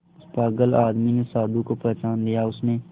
उस पागल आदमी ने साधु को पहचान लिया उसने